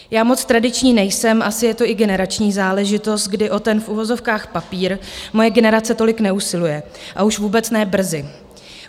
Já moc tradiční nejsem, asi je to i generační záležitost, kdy o ten v uvozovkách papír moje generace tolik neusiluje, a už vůbec ne brzy.